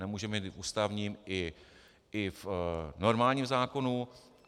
Nemůžeme je mít ústavním i v normálním zákonu.